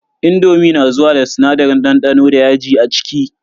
indomi na zuwa da sinadarin dandano da yaji a ciki.